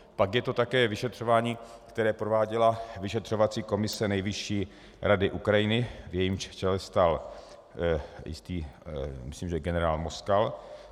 Pak je to také vyšetřování, které prováděla vyšetřovací komise Nejvyšší rady Ukrajiny, v jejímž čele stál jistý, myslím že generál Moskal.